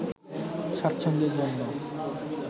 স্বাচ্ছন্দ্যের জন্য